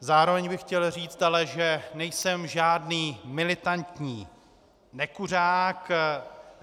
Zároveň bych chtěl ale říct, že nejsem žádný militantní nekuřák.